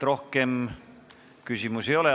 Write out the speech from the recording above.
Rohkem küsimusi ei ole.